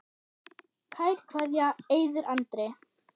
Kær kveðja, Eiður Andri.